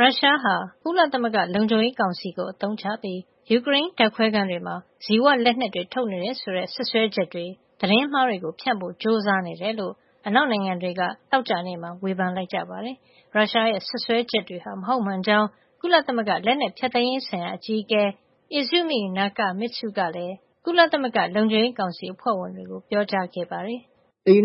ရုရှားဟာ ကုလသမဂ္ဂလုံခြုံရေးကောင်စီကို အသုံးချပြီး ယူကရိန်းဓါတ်ခွဲခန်းတွေမှာ ဇီဝလက်နက်တွေ ထုတ်နေတယ်ဆိုတဲ့ စွပ်စွဲချက်ေတွေ သတင်းမှားတွေကို ဖြန့်ဖို့ ကြိုးစားနေတယ်လို့ အနောက်နိုင်ငံတွေက သောကြာနေ့မှာ ဝေဖန်လိုက်ကြပါတယ်။ ရုရှားရဲ့ စွပ်စွဲချက်တွေဟာ မဟုတ်မှန်ကြောင်း ကုလသမဂ္ဂ လက်နက်ဖျက်သိမ်းရေးဆိုင်ရာ အကြီးအကဲ Izumi Nakamitsu ကလည်း ကုလသမဂ္ဂ လုံခြုံရေးကောင်စီ အဖွဲ့ဝင်တွေကို ပြောကြားခဲ့ပါတယ်။ “ဇီ